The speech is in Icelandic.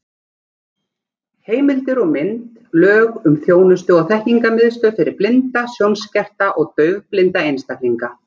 Heimildir og mynd: Lög um þjónustu- og þekkingarmiðstöð fyrir blinda, sjónskerta og daufblinda einstaklinga.